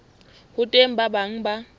ho teng ba bang ba